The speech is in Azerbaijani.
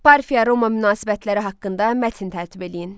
Parfiya Roma münasibətləri haqqında mətn tərtib eləyin.